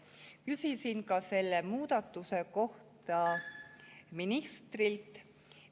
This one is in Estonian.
Küsisin ka selle muudatuse kohta ministrilt.